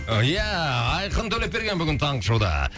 ия айқын төлепберген бүгін таңғы шоуда